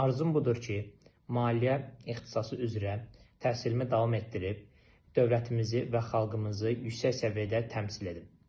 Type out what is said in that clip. Arzum budur ki, maliyyə ixtisası üzrə təhsilimi davam etdirib, dövlətimizi və xalqımızı yüksək səviyyədə təmsil edim.